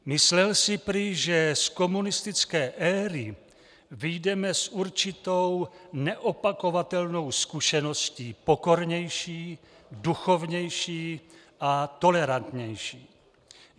Myslel si prý, že z komunistické éry vyjdeme s určitou neopakovatelnou zkušeností, pokornější, duchovnější a tolerantnější.